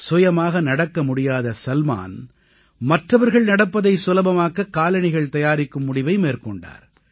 சுயமாக நடக்க முடியாத சல்மான் மற்றவர்கள் நடப்பதை சுலபமாக்க காலணிகள் தயாரிக்கும் முடிவை மேற்கொண்டார்